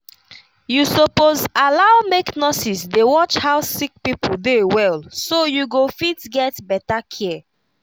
you suppose allow make nurses dey watch how sick people dey well so you go fit get better care